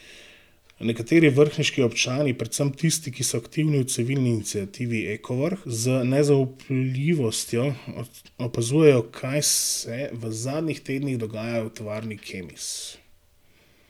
Nekateri vrhniški občani, predvsem tisti, ki so aktivni v civilni iniciativi Ekovrh, z nezaupljivostjo opazujejo, kaj se v zadnjih tednih dogaja v tovarni Kemis.